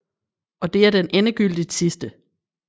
Og det er den endegyldigt sidste